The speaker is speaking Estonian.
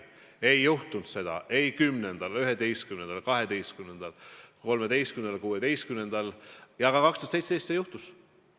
Ei juhtunud seda ei 2010., 2011., 2013. ega 2016. aastal, aga 2017. aastal see juhtus.